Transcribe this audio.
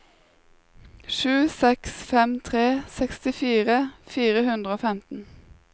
sju seks fem tre sekstifire fire hundre og femten